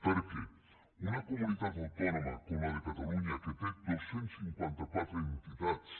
perquè una comunitat autònoma com la de catalunya que té dos cents i cinquanta quatre entitats